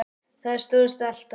Það stóðst alltaf.